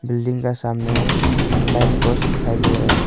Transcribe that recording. Building का सामने में लाइट पोस्ट दिखाई दे रहा है।